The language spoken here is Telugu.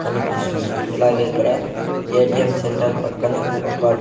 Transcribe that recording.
కనిపిస్తున్నాయ్ అలాగే ఇక్కడ ఏ_టి_ఏం సెంటర్ పక్కనే ఒక --